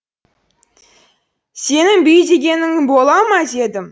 сенін бүй дегенің бола ма дедім